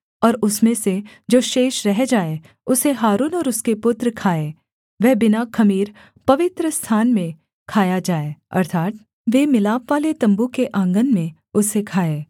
और उसमें से जो शेष रह जाए उसे हारून और उसके पुत्र खाएँ वह बिना ख़मीर पवित्रस्थान में खाया जाए अर्थात् वे मिलापवाले तम्बू के आँगन में उसे खाएँ